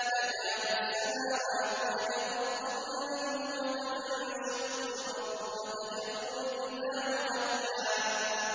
تَكَادُ السَّمَاوَاتُ يَتَفَطَّرْنَ مِنْهُ وَتَنشَقُّ الْأَرْضُ وَتَخِرُّ الْجِبَالُ هَدًّا